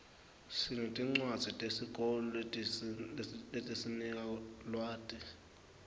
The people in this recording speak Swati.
sinetincwadzi tesikolo letisinika lwati